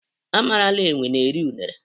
A marala enwe na-eri unere.